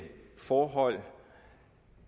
forhold